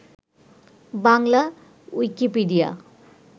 Bangla Wikipedia